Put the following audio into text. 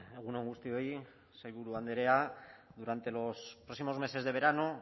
egun on guztioi sailburu andrea durante los próximos meses de verano